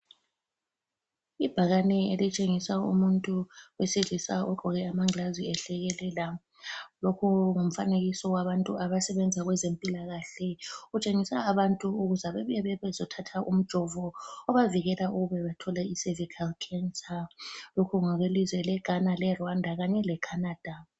Ibhakane elitshengisa umuntu wesilisa ogqoke amangilazi ehlekelela. Lokhu ngumfanekiso wabantu abasebenza kwezempilakahle. Utshengisa abantu ukuze bebuye bezothatha umjovo obavikela ukube bethole icervical cancer. Lokhu ngokwelizwe lweGhana ,leRwanda Kanye leCanada.